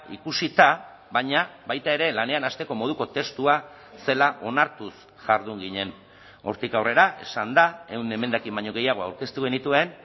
ikusita baina baita ere lanean hasteko moduko testua zela onartuz jardun ginen hortik aurrera esan da ehun emendakin baino gehiago aurkeztu genituen